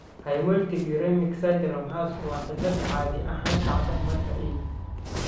Hemolytic uremic syndrome (HUS) waa cillad caadi ahaan dhacda marka E.